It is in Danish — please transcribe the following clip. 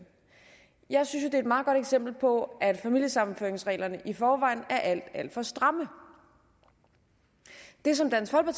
jeg synes er et meget godt eksempel på at familiesammenføringsreglerne i forvejen er alt alt for stramme det som dansk